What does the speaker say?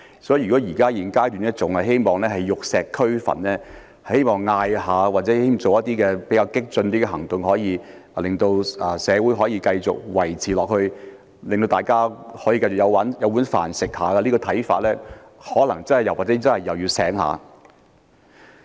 所以，如果現階段還希望玉石俱焚、希望透過喊口號或進行一些較激進的行動，便能夠令社會繼續維持、令大家能夠繼續"有飯開"，持這種看法的人可能也是要醒一醒了。